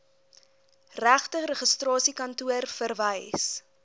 regte registrasiekantoor verwys